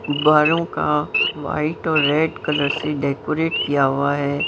गुब्बारों का वाइट और रेड कलर से डेकोरेट किया हुआ है।